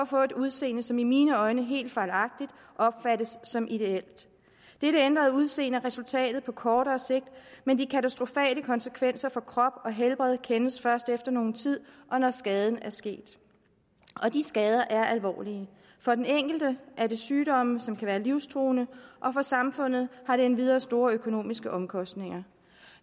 få et udseende som i mine øjne helt fejlagtigt opfattes som ideelt dette ændrede udseende er resultatet på kortere sigt men de katastrofale konsekvenser for krop og helbred kendes først efter nogen tid og når skaden er sket og de skader er alvorlige for den enkelte er det sygdomme som kan være livstruende og for samfundet har det endvidere store økonomiske omkostninger